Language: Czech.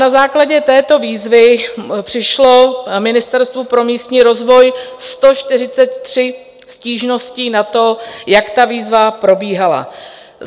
Na základě této výzvy přišlo Ministerstvu pro místní rozvoj 143 stížností na to, jak ta výzva probíhala.